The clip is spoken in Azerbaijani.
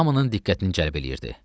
Hamının diqqətini cəlb eləyirdi.